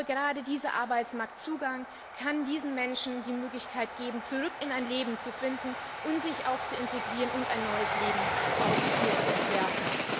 Gerade dieser Arbeitsmarktzugang kann diesen Menschen die Möglichkeit geben, zurück in ein Leben zu finden und sich auch zu integrieren und ein neues Leben zu entwerfen.